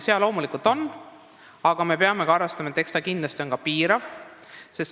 Jaa, loomulikult on, aga me peame arvestama, et selline otsus on kindlasti piirav.